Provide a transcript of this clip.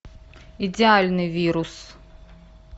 идеальный вирус